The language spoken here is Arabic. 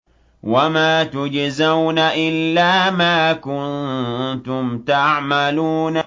وَمَا تُجْزَوْنَ إِلَّا مَا كُنتُمْ تَعْمَلُونَ